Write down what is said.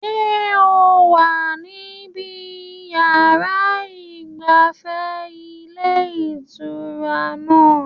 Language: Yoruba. Ṣé o wà níbi yàrá ìgbafẹ́ ilé ìtura náà?